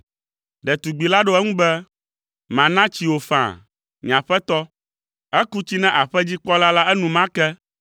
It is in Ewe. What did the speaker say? Ɖetugbi la ɖo eŋu be, “Mana tsi wò faa, nye aƒetɔ.” Eku tsi na aƒedzikpɔla la enumake,